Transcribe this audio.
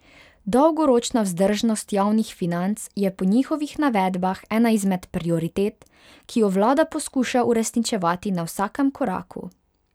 Dolgoročna vzdržnost javnih financ je po njihovih navedbah ena izmed prioritet, ki jo vlada poskuša uresničevati na vsakem koraku.